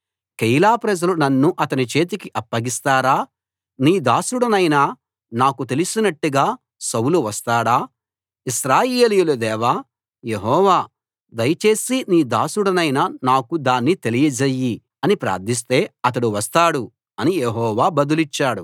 కెయీలా ప్రజలు నన్ను అతని చేతికి అప్పగిస్తారా నీ దాసుడనైన నాకు తెలిసినట్టుగా సౌలు వస్తాడా ఇశ్రాయేలీయుల దేవా యెహోవా దయచేసి నీ దాసుడనైన నాకు దాన్ని తెలియజెయ్యి అని ప్రార్థిస్తే అతడు వస్తాడు అని యెహోవా బదులిచ్చాడు